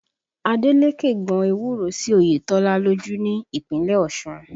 Adeleke gbọn ewúro sí Oyetola lójú ní Ìpínlẹ̀ Ọ̀ṣun